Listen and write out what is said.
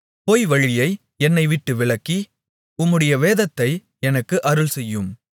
பொய்வழியை என்னைவிட்டு விலக்கி உம்முடைய வேதத்தை எனக்கு அருள்செய்யும்